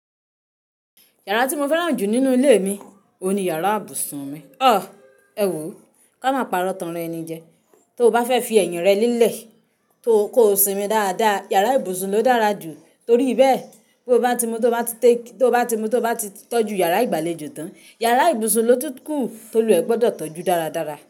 Yàrá tí mo fẹ́ràn jù nínú ilé mi oun ní yàrá ibùsùn mi. Ah!, Ẹwo, ká má parọ́ tàn ra eni jẹ. Tó o bá fẹ́ fi ẹ̀yìn rẹ lélẹ̀, kò sinmi dáadáa, yàrá ibùsùn ló dára jù. Torí bẹ́ẹ̀ tó bá ti mu tó bá ti tọ́jú yàrá ìgbàlejò tán, yàrá ibùsùn ló tún kù toluwa ẹ gbọdọ̀ tọ́jú dáradára.